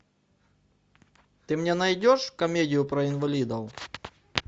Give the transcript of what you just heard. ты мне найдешь комедию про инвалидов